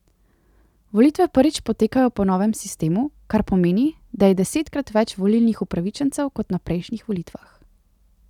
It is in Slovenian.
Volitve prvič potekajo po novem sistemu, kar pomeni, da je desetkrat več volilnih upravičencev kot na prejšnjih volitvah.